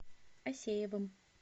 асеевым